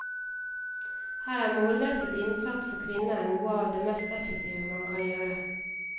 Her er målrettet innsats for kvinner noe av det mest effektive man kan gjøre.